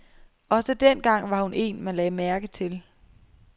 Også dengang var hun en, man lagde mærke til.